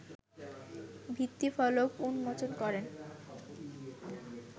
ভিত্তিফলক উন্মোচন করেন